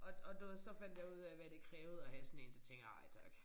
Og og du ved så fandt jeg ud af hvad det krævede at have sådan én så tænkte jeg nej tak